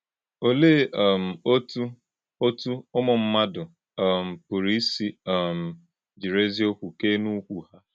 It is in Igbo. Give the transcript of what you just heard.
Ọ̀lèé um ọ́tụ́ ọ́tụ́ ụmụ mmádụ um pụ̀rụ̀ ísì um jírí èzíọ̀kwú kẹ́ẹ́ n’úkwù hà?